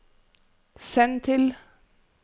send til